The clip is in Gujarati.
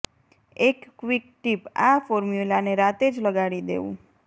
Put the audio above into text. એક ક્વિક ટીપઃ આ ફોર્મ્યુલાને રાતે જ લગાડી દેવું